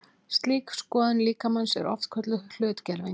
Slík skoðun líkamans er oft kölluð hlutgerving.